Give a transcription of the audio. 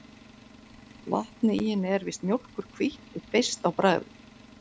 Vatnið í henni er víst mjólkurhvítt og beiskt á bragðið.